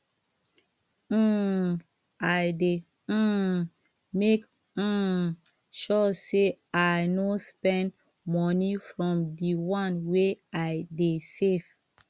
um i dey um make um sure sey i no spend moni from di one wey i dey save